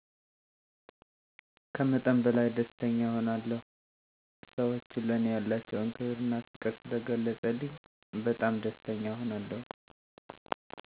ከመጠን በላይ ደስተኛ እሆናለሁ ሰወቹ ለኔ ያላቸዉን ክብር እና ፍቅር ስለገለፀልኝ በጣም ደስተኛ እሆናለሁ።